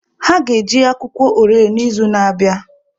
Ha ga-eji akwụkwọ orele n'izu na-abịa.